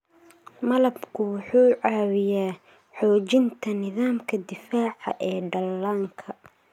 Malabku wuxuu caawiyaa xoojinta nidaamka difaaca ee dhallaanka.